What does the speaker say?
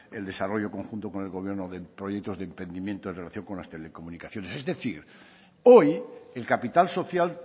el desarrollo conjunto con el gobierno con proyectos de emprendimiento y relación con las telecomunicaciones es decir hoy el capital social